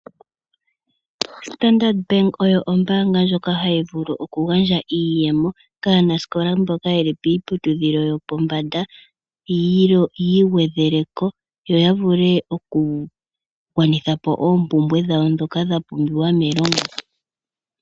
Standard bank oyo ombanga ndyoka hayi vulu oku gandja iiyemo kaanasikola mboka yeli piiputudhilo yopombanda yiigwedheleko yo yavule oku gwanithapo oompumbwe dhawo ndhoka dha pumbiwa melongo.